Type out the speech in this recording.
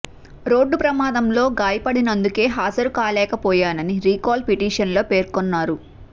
road ప్రమాదంలో గాయపడినందుకే హాజరు కాలేకపోయానని రీకాల్ పిటిషన్ లో పేర్కొన్నారు